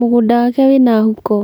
mũgũnda wake wĩna huko.